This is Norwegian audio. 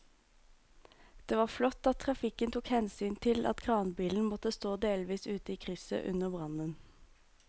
Det var flott at trafikken tok hensyn til at kranbilen måtte stå delvis ute i krysset under brannen.